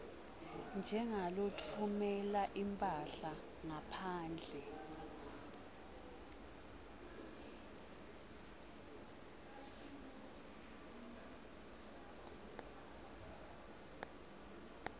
njengalotfumela imphahla ngaphandle